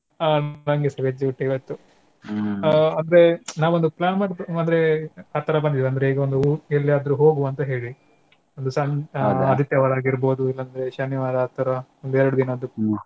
ಹಾ ನಂಗೆಸ veg ಊಟ ಇವತ್ತು ಅದೆ ನಾವ್ ಒಂದು plan ಮಾಡ್~ ಅಂದ್ರೆ ಅತ್ತರ ಬಂದಿದೆ ಅಂದ್ರೆ ಈಗ ಒಂದ್ ಊ~ ಎಲ್ಲಿಗಾದ್ರೂ ಹೋಗುವ ಅಂತಾ ಹೇಳಿ ಒಂದ್ ಸನ್~ ಆದಿತ್ಯವಾರ ಆಗೀರ್ಬೋದು ಇಲ್ಲಾದ್ರೆ ಶನಿವಾರ ಆ ತರಾ ಒಂದೆರ್ಡ್ ದಿನದ್ದು .